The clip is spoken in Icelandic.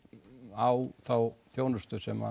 á þá þjónustu sem